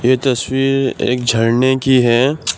ये तस्वीर एक झरने की है।